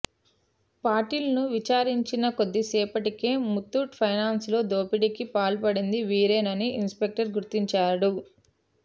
పాటిల్ ను విచారించిన కొద్దిసేపటికే ముత్తూట్ ఫైనాన్స్ లో దోపిడికి పాల్పడింది వీరేనని ఇన్స్ పెక్టర్ గుర్తించాడు